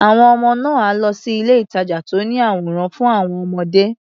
Àwọn ọmọ náà á lọ sí ilé-ìtàjà tó ní àwòrán fún àwọn ọmọdé.